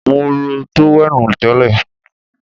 Mo ró tówẹ́ènù tẹ́lẹ̀